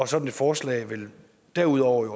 sådan et forslag derudover vil